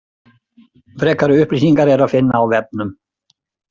Frekari upplýsingar er að finna á vefnum.